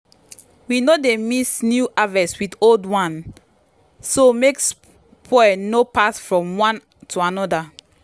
we no dey mix new harvest with old one so make spoil no pass from one to another.